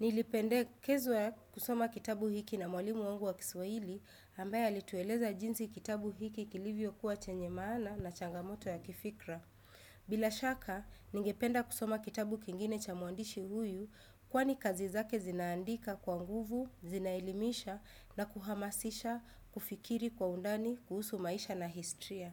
Nilipendekezwa kusoma kitabu hiki na mwalimu wangu wa kiswahili ambaye alitueleza jinsi kitabu hiki kilivyo kuwa chenye maana na changamoto ya kifikra bila shaka, ningependa kusoma kitabu kingine cha mwandishi huyu Kwani kazi zake zinaandika kwa nguvu, zinaelimisha na kuhamasisha, kufikiri kwa undani, kuhusu maisha na historia.